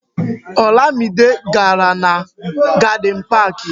Olamide gàrà na Garden Park